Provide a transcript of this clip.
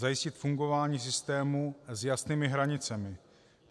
Zajistit fungování systému s jasnými hranicemi.